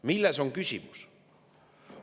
Milles on küsimus?